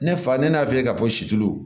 Ne fa ne y'a f'i ye k'a fɔ situlu